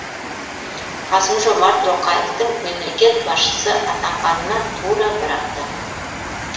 қасым жомарт тоқаевтың мемлекет басшысы атанғанына тура бір апта